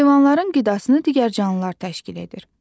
Heyvanların qidasını digər canlılar təşkil edir.